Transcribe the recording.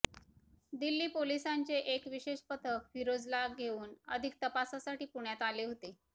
दिल्ली पोलिसांचे एक विशेष पथक फिरोजला घेऊन अधिक तपासासाठी पुण्यात आले होते